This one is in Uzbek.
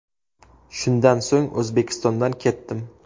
Shundan so‘ng O‘zbekistondan ketdim.